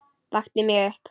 Vakti mig upp.